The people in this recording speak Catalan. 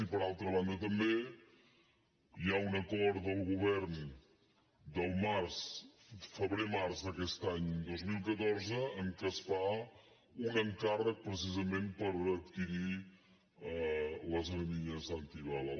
i per altra banda també hi ha un acord del govern del febrer març d’aquest any dos mil catorze en què es fa un encàrrec precisament per adquirir les armilles antibala